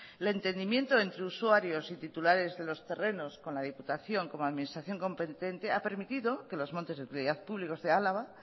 el entendimiento entre usuarios y titulares de los terrenos con la diputación como administración competente ha permitido que los montes de utilidad pública de álava